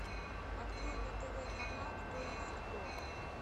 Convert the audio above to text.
открой на тв канал кто есть кто